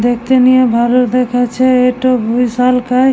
দেখতে নিয়ে ভালো দেখাচ্ছে এইটা বিশালকায় --